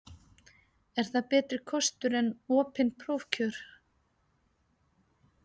Er það betri kostur en opin prófkjör?